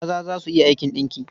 Maza za su iya aikin ɗinki.